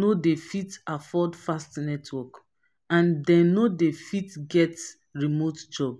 no dey fit afford fast network and dem no fit get remote work